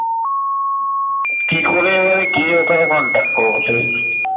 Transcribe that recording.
কি করে ভাই গিয়ে ওখানে contact করবো?